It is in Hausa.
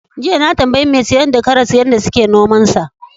Jiya na tambayi mai sayar da karas yadda suke nomansa.